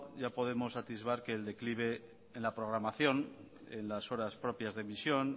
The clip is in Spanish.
ya podemos atisbar que el declive en la programación en las horas propias de emisión